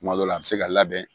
Kuma dɔ la a bɛ se ka labɛn